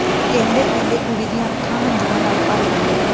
ਕਹਿੰਦੇ ਕਹਿੰਦੇ ਕੁੜੀ ਦੀਆਂ ਅੱਖਾਂ ਹੰਝੂਆਂ ਨਾਲ ਭਰ ਗਈਆਂ